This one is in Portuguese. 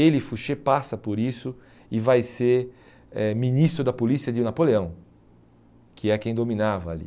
Ele, Fouché, passa por isso e vai ser eh ministro da polícia de Napoleão, que é quem dominava ali.